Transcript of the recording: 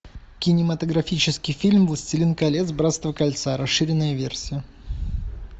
кинематографический фильм властелин колец братство кольца расширенная версия